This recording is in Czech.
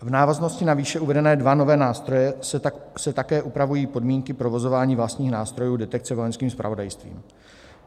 V návaznosti na výše uvedené dva nové nástroje se také upravují podmínky provozování vlastních nástrojů detekce Vojenským zpravodajstvím.